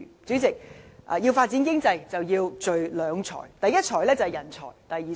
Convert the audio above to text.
主席，要發展經濟，便要聚積人才和錢財。